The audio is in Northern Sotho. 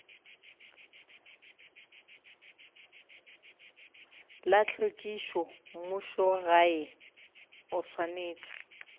la tlhwekišo mmušogae o swanetše